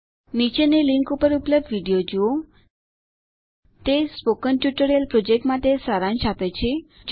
નીચેની લીંક ઉપર ઉપલબ્ધ વિડીઓ જુઓ httpspoken tutorialorg તે સ્પોકન ટ્યુટોરિયલ પ્રોજેક્ટ માટે સારાંશ આપે છે